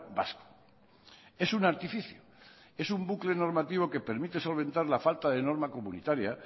vasco es un artificio es un bucle normativo que permite solventar la falta de norma comunitaria